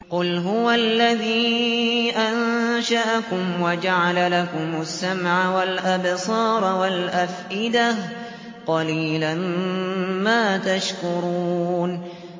قُلْ هُوَ الَّذِي أَنشَأَكُمْ وَجَعَلَ لَكُمُ السَّمْعَ وَالْأَبْصَارَ وَالْأَفْئِدَةَ ۖ قَلِيلًا مَّا تَشْكُرُونَ